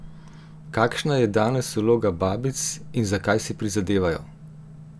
Kakšna je danes vloga babic in za kaj si prizadevajo?